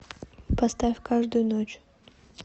поставь каждую ночь